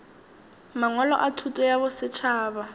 mangwalo a thuto ya bosetšhaba